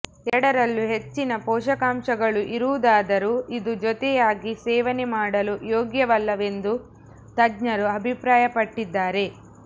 ಎರಡಲ್ಲೂ ಹೆಚ್ಚಿನ ಪೋಷಕಾಂಶಗಳು ಇರುವುದಾದರೂ ಇದು ಜತೆಯಾಗಿ ಸೇವನೆ ಮಾಡಲು ಯೋಗ್ಯವಲ್ಲವೆಂದು ತಜ್ಞರು ಅಭಿಪ್ರಾಯಪಟ್ಟಿದ್ದಾರೆ